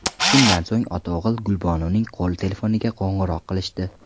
Shundan so‘ng ota-o‘g‘il Gulbonuning qo‘l telefoniga qo‘ng‘iroq qilishdi.